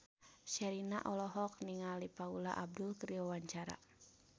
Sherina olohok ningali Paula Abdul keur diwawancara